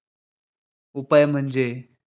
उपाय म्हणजे